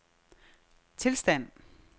tilstand